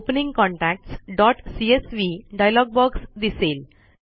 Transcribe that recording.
opening contactsसीएसवी dialog box दिसेल